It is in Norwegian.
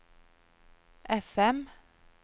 FM